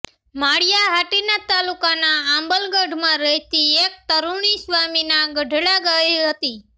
માળીયાહાટીના તાલુકાના આંબલગઢમાં રહેતી એક તરૂણી સ્વામીના ગઢડા ગઇ હતી